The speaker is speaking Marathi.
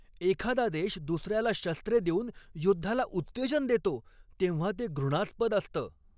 एखादा देश दुसऱ्याला शस्त्रे देऊन युद्धाला उत्तेजन देतो तेव्हा ते घृणास्पद असतं.